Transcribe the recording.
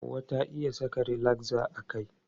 Hauwa ta iya saka rilakza a kai.